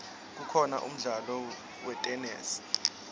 kukhona umdlalo wetenesi